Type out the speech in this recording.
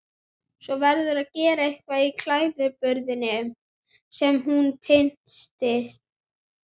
Svo verðurðu að gera eitthvað í klæðaburðinum, segir hún pinnstíf.